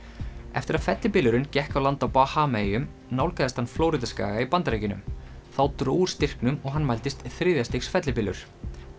eftir að fellibylurinn gekk á land á Bahamaeyjum nálgaðist hann Flórída skaga í Bandaríkjunum þá dró úr styrknum og hann mældist þriðja stigs fellibylur